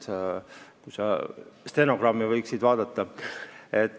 Sa võiksid stenogrammi vaadata.